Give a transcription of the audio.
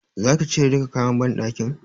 Zaki cire duka kayan banɗakin?